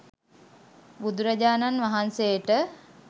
බුදුරජාණන් වහන්සේට